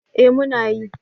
Eh muna yi.